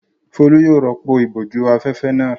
Folú yóò rọ́pò ìbòjú-afẹ́fẹ́ náà.